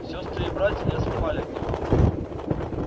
сёстры и братья не отставали от него